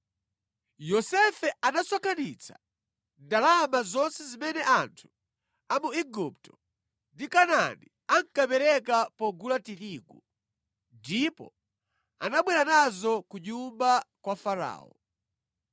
Yosefe anasonkhanitsa ndalama zonse zimene anthu a mu Igupto ndi Kanaani ankapereka pogula tirigu, ndipo anabwera nazo ku nyumba kwa Farao.